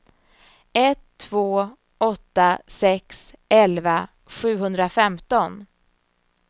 ett två åtta sex elva sjuhundrafemton